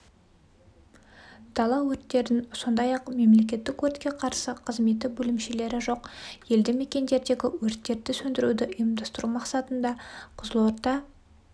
дала өрттерін сондай-ақ мемлекеттік өртке қарсы қызметі бөлімшелері жоқ елді мекендердегі өрттерді сөндіруді ұйымдастыру мақсатында қызылорда